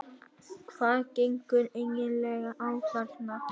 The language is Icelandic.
HVAÐ GENGUR EIGINLEGA Á ÞARNA?